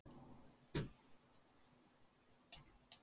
Frænka mín fékk hraðasekt á Norðurlandi.